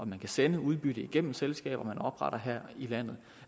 man kan sende udbytte igennem selskaber man opretter her i landet